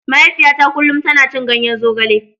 Mahaifiyata kullum tana cin ganyen zogale.